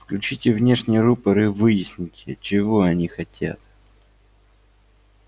включите внешний рупор и выясните чего они хотят